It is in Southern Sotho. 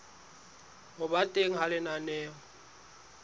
ho ba teng ha lenaneo